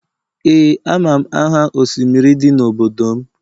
Ee amam aha osimiri di n'obodo m